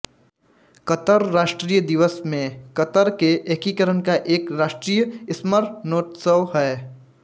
क़तर राष्ट्रीय दिवस में कतर के एकीकरण का एक राष्ट्रीय स्मरणोत्सव है